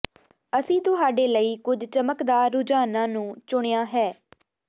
ਅਸੀਂ ਤੁਹਾਡੇ ਲਈ ਕੁਝ ਚਮਕਦਾਰ ਰੁਝਾਨਾਂ ਨੂੰ ਚੁਣਿਆ ਹੈ